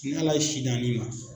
N'Ala ye si d'an ani ma